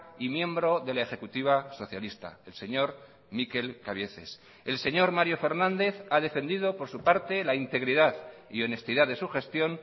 y miembro de la ejecutiva socialista el señor mikel cabieces el señor mario fernández ha defendido por su parte la integridad y honestidad de su gestión